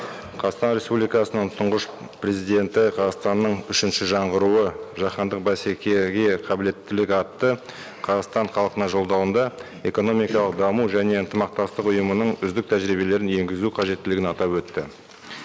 қазақстан республикасының тұңғыш президенті қазақстанның үшінші жаңғыруы жаһандық бәсекеге қабілеттілік атты қазақстан халқына жолдауында экономикалық даму және ынтымақтастық ұйымының үздік тәжірибелерін енгізу қажеттілігін атап өтті